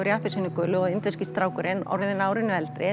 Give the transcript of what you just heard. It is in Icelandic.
í appelsínugulu og indverski strákurinn orðinn árinu eldri